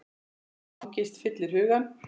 Angist fyllir hugann.